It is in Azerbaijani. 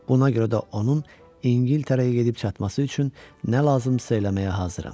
Buna görə də onun İngiltərəyə gedib çatması üçün nə lazımdırsa eləməyə hazıram.